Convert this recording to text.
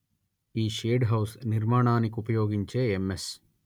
ఈ shade house నిర్మాణానికుపయోగించే MS